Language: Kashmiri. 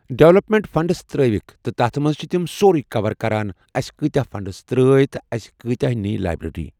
ڈیولپمنٹ فنڈٔس ترأیِکھ تہٕ تَتھ منٛز چھ تِم سورٕے کوَر کران اَسہِ کۭتیاہ فنٛڈٔس ترأے یا اَسہِ کۭتیاہ نی لایبریری